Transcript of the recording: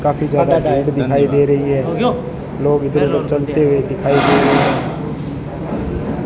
काफी ज्यादा भीड़ दिखाई दे रही है लोग इधर उधर चलते हुए दिखाई दे रहे हैं।